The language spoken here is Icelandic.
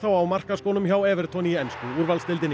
á markaskónum hjá í ensku úrvalsdeildinni